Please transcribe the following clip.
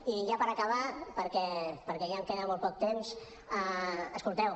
i ja per acabar perquè ja em queda molt poc temps escolteu